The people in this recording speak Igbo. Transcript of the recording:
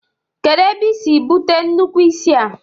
Kedu ebe isi bute nnukwu isi a?